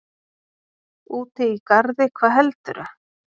Úti í garði, hvað heldurðu!